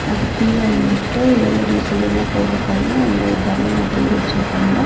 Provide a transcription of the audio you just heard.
அதுக்கு கீழ வந்துட்டு எவ்ளோ டீசல் வேணுமோ போட்றக்கான அந்த கன் மாதிரி வெச்சுருக்காங்க.